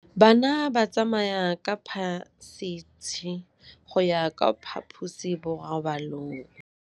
Bana ba tsamaya ka phašitshe go ya kwa phaposiborobalong.